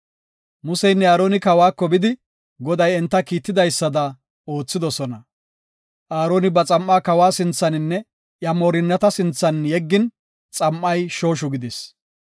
Museynne Aaroni kawako bidi Goday enta kiitidaysada oothidosona. Aaroni ba xam7aa kawa sinthaninne iya moorinnata sinthan yeggin xam7ay shooshu gidis.